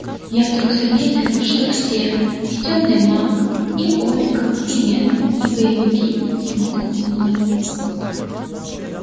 я вдруг заметил что все и тёмный маг и ольга и лена и боевики смотрят на меня